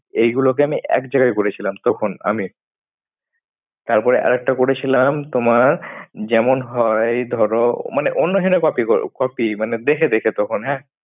এইগুলোকে আমি এক জায়গায় করেছিলাম। তখন আমি। তারপরে আরেকটা করেছিলাম তোমার যেমন হয় ধরো মানে অন্য জনের copy কর। Copy মানে দেখে দেখে তখন হ্যাঁ।